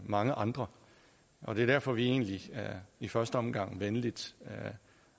mange andre og det er derfor vi egentlig i første omgang venligt